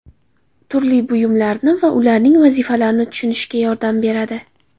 Turli buyumlarni va ularning vazifalarini tushunishga yordam beradi.